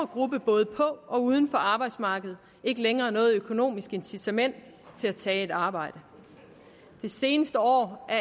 gruppe både på og uden for arbejdsmarkedet ikke længere noget økonomisk incitament til at tage et arbejde det seneste år er